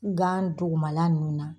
Gan duguma la nunnu na.